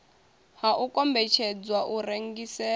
ha u kombetshedzwa u rengiselwa